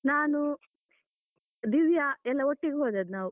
ನಾನು ದಿವ್ಯ, ಎಲ್ಲ ಒಟ್ಟಿಗೆ ಹೋದದ್ದು ನಾವು.